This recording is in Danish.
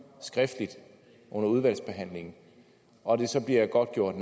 skriftligt under udvalgsbehandlingen og det så bliver godtgjort at